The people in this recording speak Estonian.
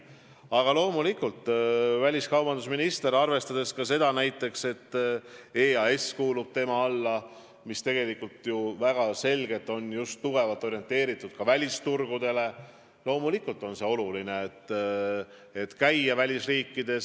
Aga loomulikult, arvestades sedagi, et väliskaubandusministri valitsemisalasse kuulub ka EAS, mis on tugevalt orienteeritud välisturgudele, on ministril oluline käia välisriikides.